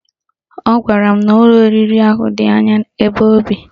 Ọ gwara m n'ụlọ oriri ahụ dị anya ebe o bi